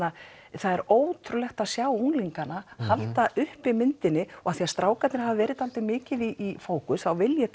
það er ótrúlegt að sjá unglingana halda uppi myndinni og af því að strákarnir hafa verið mikið í fókus þá vil ég